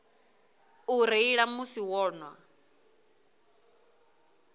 u reila musi vho nwa